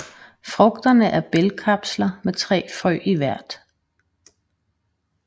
Frugterne er bælgkapsler med 3 frø i hvert